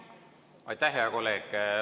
Aitäh, hea kolleeg!